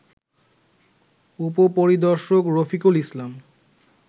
উপপরিদর্শক রফিকুল ইসলাম